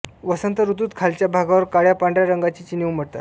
वसंत ऋतूत खालच्या भागावर काळ्यापांढऱ्या रंगाची चिन्हे उमटतात